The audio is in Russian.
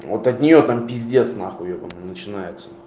вот от нее там пиздец нахуй ёбанный начинается